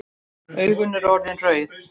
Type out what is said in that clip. Augun eru orðin rauð.